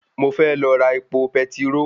Mo fẹ́ lọ ra epo petiró